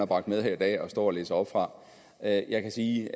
bragt med her i dag og står og læser op af jeg kan sige